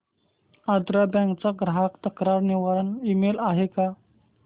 Andhra bank चा ग्राहक तक्रार निवारण ईमेल आहे का